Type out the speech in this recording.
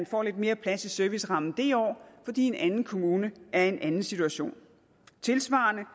få lidt mere plads i servicerammen det år fordi en anden kommune er i en anden situation tilsvarende er